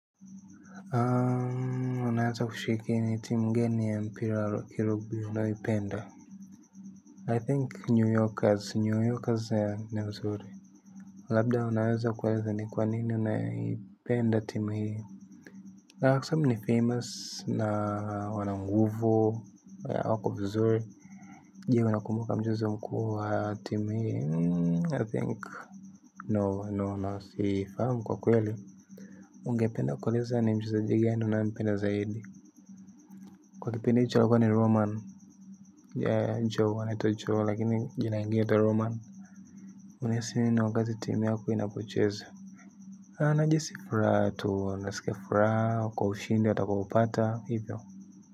Unaweza kushiriki ni timu gani ya mpira wa kirugbi unaipenda I think New Yorkers, New Yorkers ni wazuri labda wanweza kueleza ni kwa nini unapenda timu hiyo. Ungependa kueleza ni mchezaji mgani unayempenda zaidi. Kwa kipinde cha lakwa ni roman ya joe wanito joe lakini jinaingi yata roman unahisi na wakazi timu yako inapocheza na jesifuratu, nasikafuratu, kwa ushindi, watakupata, hivyo.